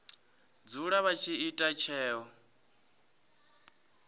dzula vha tshi ita tsheo